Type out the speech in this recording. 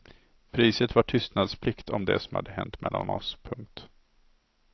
Priset var tystnadsplikt om det som hänt mellan oss. punkt